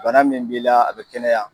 Bana min b'i la a be kɛnɛya